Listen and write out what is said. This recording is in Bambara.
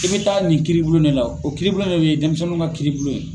I bɛ taa nin kiiribulon ne la o kiiribulon ne bɛ denmisɛnninw ka kiiribulon ye.